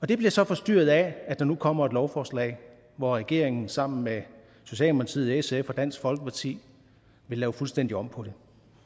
det bliver så forstyrret af at der nu kommer et lovforslag hvor regeringen sammen med socialdemokratiet sf og dansk folkeparti vil lave fuldstændig om på det